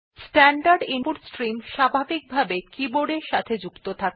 standard input stream স্বাভাবিকভাবে ই keyboard এর সাথে যুক্ত থাকে